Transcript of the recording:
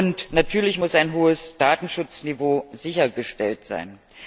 Und natürlich muss ein hohes Datenschutzniveau sichergestellt sein.